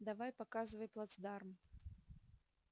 давай показывай плацдарм